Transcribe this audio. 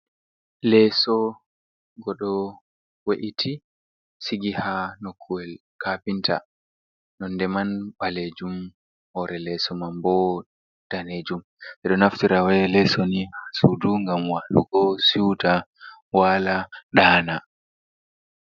Leeso ngo ɗo we’iti sigi haa nokuyel kaapinta nonɗe man ɓaleejum. Hoore leeso man boo daneejum. Ɓe ɗo naftira bee leeso ni haa suudu ngam waalugo siwta waala ɗaana.